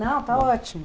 Não, está ótimo.